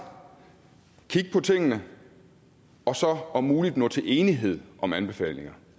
kigge på tingene og så om muligt nå til enighed om anbefalinger